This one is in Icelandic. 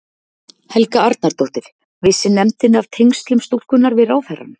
Helga Arnardóttir: Vissi nefndin af tengslum stúlkunnar við ráðherrann?